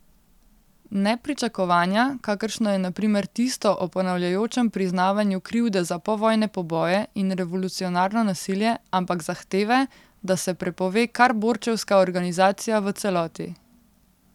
Ne pričakovanja, kakršno je na primer tisto o ponavljajočem priznavanju krivde za povojne poboje in revolucionarno nasilje, ampak zahteve, da se prepove kar borčevska organizacija v celoti.